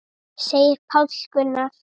segir Páll Gunnar.